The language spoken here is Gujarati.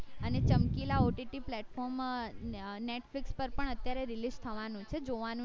અને ચમકીલા OTT platform માં netflix પર અત્યારે release થવાનું છે જોવાનું